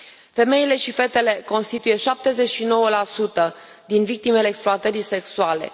Femeile și fetele constituie 79 din victimele exploatării sexuale.